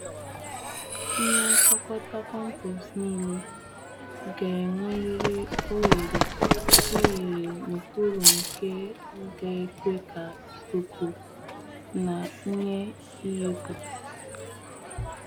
Ihe nkpokota kọmpost ṅile ga-enwerịrị oghere oghere n'okpuru nke ga ekwe ka ikuku na ihe ihipu.